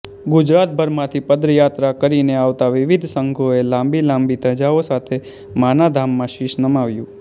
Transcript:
ગુજરાતભરમાંથી પદયાત્રા કરીને આવતા વિવિધ સંઘોએ લાંબી લાંબી ધજાઓ સાથે માના ધામમાં શિશ નમાવ્યું